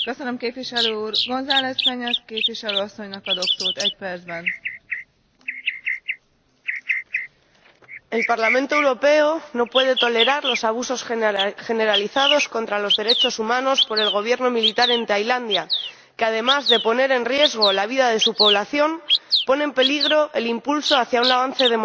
Señora Presidenta, el Parlamento Europeo no puede tolerar los abusos generalizados contra los derechos humanos por parte del Gobierno militar en Tailandia, que, además de poner en riesgo la vida de su población, pone en peligro el impulso hacia un avance democrático en la región.